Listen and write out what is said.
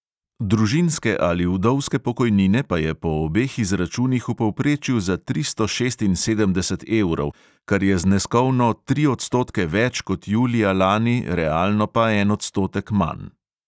Družinske ali vdovske pokojnine pa je po obeh izračunih v povprečju za tristo šestinsedemdeset evrov, kar je zneskovno tri odstotke več kot julija lani, realno pa en odstotek manj.